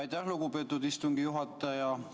Aitäh, lugupeetud istungi juhataja!